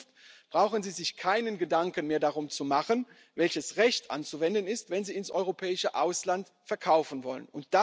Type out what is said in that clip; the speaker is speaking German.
In Zukunft brauchen sie sich keine Gedanken mehr darum zu machen, welches Recht anzuwenden ist, wenn sie ins europäische Ausland verkaufen wollen.